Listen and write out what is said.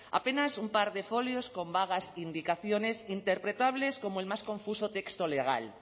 apenas un par de folios con vagas indicaciones interpretables como el más confuso texto legal